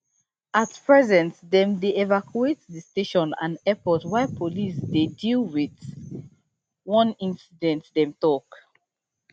at present dem dey evacuate di station and airport while police dey deal with one incident dem tok